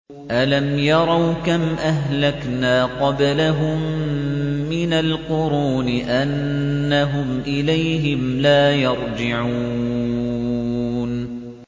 أَلَمْ يَرَوْا كَمْ أَهْلَكْنَا قَبْلَهُم مِّنَ الْقُرُونِ أَنَّهُمْ إِلَيْهِمْ لَا يَرْجِعُونَ